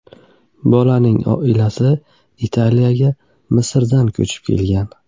Bolaning oilasi Italiyaga Misrdan ko‘chib kelgan.